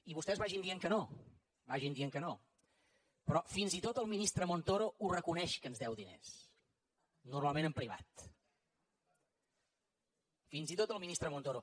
i vostès vagin dient que no vagin dient que no però fins i tot el ministre montoro ho reconeix que ens deu diners normalment en privat fins i tot el ministre montoro